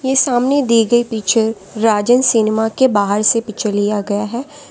ये सामने दी गई पिक्चर राजन सिनेमा के बाहर से पिक्चर लिया गया है।